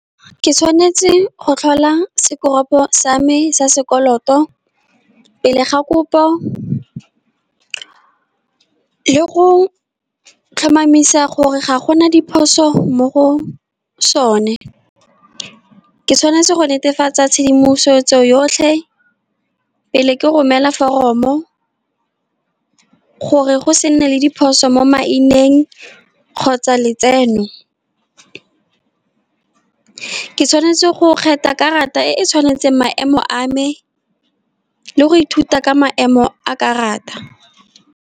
Ke tshwanetse go tlhola sekoropo sa me sa sekoloto, pele ga kopo le go tlhomamisa gore ga gona diphoso mo go sone. Ke tshwanetse go netefatsa tshedimosetso yotlhe, pele ke romela foromo, gore go se nne le diphoso mo maineng, kgotsa letseno. Ke tshwanetse go kgetha karata e e tshwanetseng maemo a me, le go ithuta ka maemo a karata.